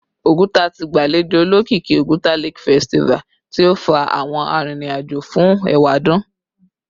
Oguta ti gbalejo olokiki Oguta Lake Festival ti o fa awọn aririn ajo fun ewadun